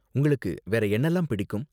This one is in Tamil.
உங்களுக்கு வேற என்னலாம் பிடிக்கும்.